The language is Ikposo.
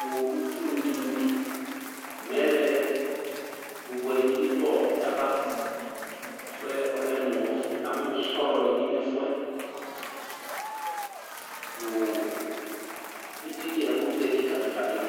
nʋ uɖunu ɖɩnɩ bɩ;mɛlɛ bʋbʋɛ ɖɩ nɩ bɩ ɖʋ ɔbɛ avaƐfʋɛ ɔlɛ mʋ ɔfʋ ,na mʋ sɔlɔ nɩ bɩ nʋ ɛfʋɛ, nʋ eɖini ɛƙʋtɛ ƙɩƙaƙɩƙa ɖɩnɩ